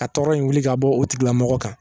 A tɔɔrɔ in wuli ka bɔ o tigilamɔgɔ kan